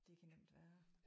Det kan nemt være